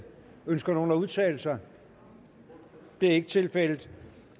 ønsker nogen at udtale sig det er ikke tilfældet